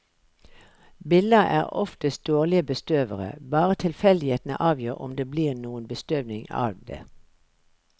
Biller er oftest dårlige bestøvere, bare tilfeldighetene avgjør om det blir noen bestøvning av det.